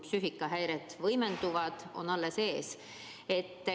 Psüühikahäired võimenduvad, see on alles ees.